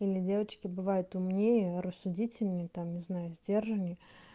или девочки бывают умнее рассудительные там не знаю сдержанней